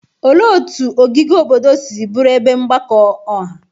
Olee otú ogige obodo si bụrụ ebe mgbakọ ọha?